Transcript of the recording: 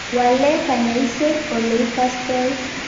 Wale kanyaiset oleikastoi.